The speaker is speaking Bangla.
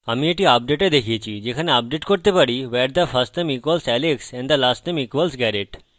আমি এটি আপডেটে দেখিয়েছি যেখানে আপডেট করতে পারি where the firstname equals alex and the lastname equals garret